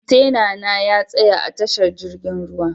Kwantena na ya tsaya a tashar jirgin ruwa.